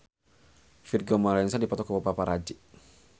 Vigo Mortensen dipoto ku paparazi